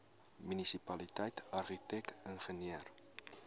munisipaliteit argitek ingenieur